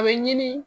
A bɛ ɲini